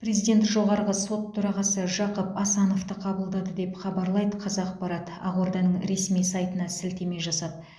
президент жоғарғы сот төрағасы жақып асановты қабылдады деп хабарлайды қазақпарат ақорданың ресми сайтына сілтеме жасап